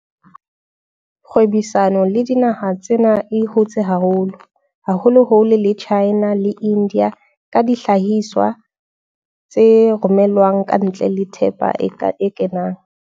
Kgwebisano le dinaha tsena e hotse haholo, haholoholo le China le India ka dihlahiswa tse romelwang kantle le thepa e kenang.